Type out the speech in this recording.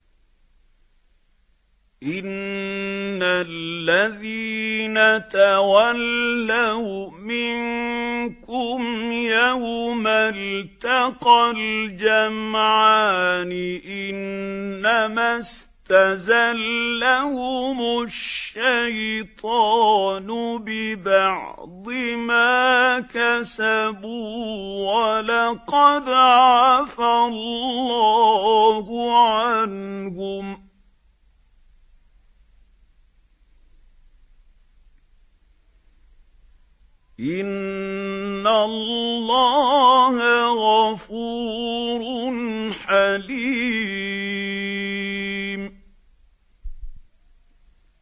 إِنَّ الَّذِينَ تَوَلَّوْا مِنكُمْ يَوْمَ الْتَقَى الْجَمْعَانِ إِنَّمَا اسْتَزَلَّهُمُ الشَّيْطَانُ بِبَعْضِ مَا كَسَبُوا ۖ وَلَقَدْ عَفَا اللَّهُ عَنْهُمْ ۗ إِنَّ اللَّهَ غَفُورٌ حَلِيمٌ